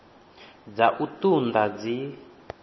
dza u ṱun ḓa dzi